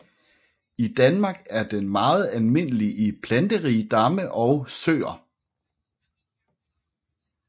I Danmark er den meget almindelig i planterige damme og søer